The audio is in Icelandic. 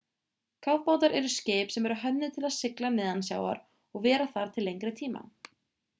kafbátar eru skip sem eru hönnuð til að sigla neðansjávar og vera þar til lengri tíma